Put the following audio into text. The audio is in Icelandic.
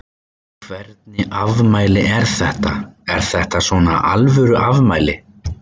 Hvernig afmæli er þetta, er þetta svona alvöru afmæli?